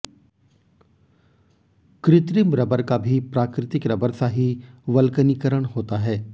कृत्रिम रबर का भी प्राकृतिक रबर सा ही वल्क्नीकरण होता है